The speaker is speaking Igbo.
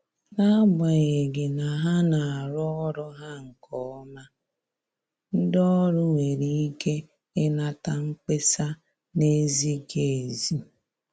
N’agbanyeghị na ha na arụ ọrụ ha nke ọma, ndị ọrụ nwere ike inata mkpesa na-ezighi ezi.